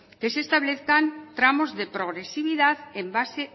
que se establezcan tramos de progresividad en base